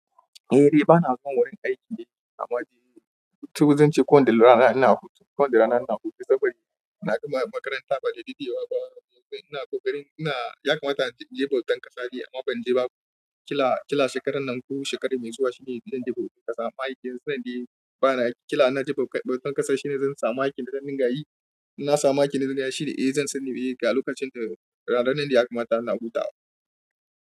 Eh, eh bana zuwa wurin aiki amma je, duk zuciyanci ko da rana ina hutu, ko da rana ina hutu saboda ina gama makaranta ba da daɗewa ba. Ina ƙoƙarin ina, ya kamata in je bautan ƙasa ne amma ban je ba. Ƙila, ƙila shekarar nan ko shekarar mai zuwa shine zan je bautan ƙasa. Ma'aikin zan na yi bana yi, ƙila na je bautan ƙasa shine zan samu aikin da zan dinga yi. Na samu aikin da zan dinga yi shi ne, eh zan sani me ka yi lokacin da ranar nan da ya kamata ina hutawa.